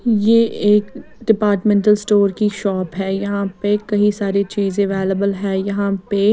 ये एक departmental store की शॉप है यहां पे कई सारी चीजें अवेलेबल है यहां पे।